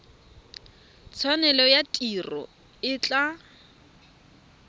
tshwanelo ya tiro e tla